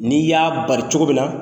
N'i y'a bari cogo min na